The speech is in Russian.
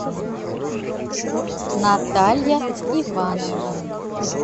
наталья ивановна